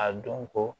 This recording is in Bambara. A dɔn ko